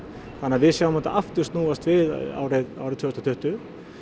þannig að við sjáum þetta aftur snúast við árið árið tvö þúsund og tuttugu